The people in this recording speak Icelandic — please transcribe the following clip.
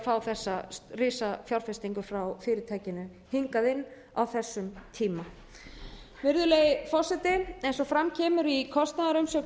að fá þessa risafjárfestingu frá fyrirtækinu hingað inn á þessum tíma eins og fram kemur í kostnaðarumsögn